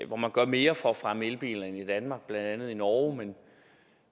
hvor man gør mere for at fremme elbiler end i danmark blandt andet i norge